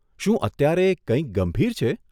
શું અત્યારે કંઈક ગંભીર છે?